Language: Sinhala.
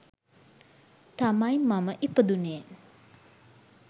තමයි මම ඉපදුණේ.